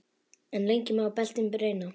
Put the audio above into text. En lengi má beltin reyna.